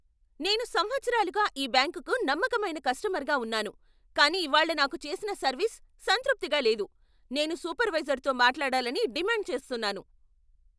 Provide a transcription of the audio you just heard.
నేను సంవత్సరాలుగా ఈ బ్యాంకుకు నమ్మకమైన కస్టమర్గా ఉన్నాను, కానీ ఇవాళ్ళ నాకు చేసిన సర్వీస్ సంతృప్తిగా లేదు. నేను సూపర్వైజర్తో మాట్లాడాలని డిమాండ్ చేస్తున్నాను!